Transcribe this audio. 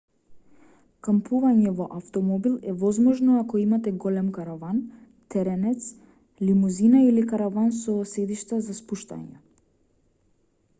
кампување во автомобил е возможно ако имате голем караван теренец лимузина или караван со седишта за спуштање